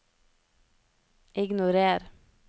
ignorer